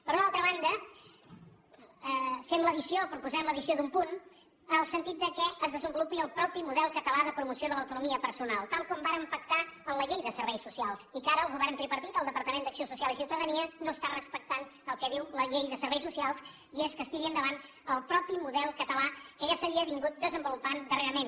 per una altra banda fem l’addició o proposem l’addició d’un punt en el sentit que es desenvolupi el propi model català de promoció de l’autonomia personal tal com vàrem pactar en la llei de serveis socials que ara el go vern tripartit el departament d’acció social i ciu tadania no respecta el que diu la llei de serveis socials i és que es tiri endavant el propi model català que ja s’havia desenvolupat darrerament